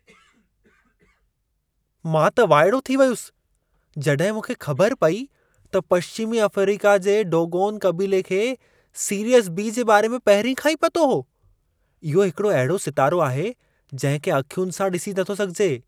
मां त वाइड़ो थी वयुसि जड॒हिं मूंखे ख़बरु पेई त पश्चिमी अफ़्रीका जे डोगोन क़बीले खे सीरियस बी जे बारे में पहिरीं खां ई पतो हो. इहो हिकड़ो अहिड़ो सितारो आहे जिंहिं खे अखियुनि सां डि॒सी नथो सघिजे।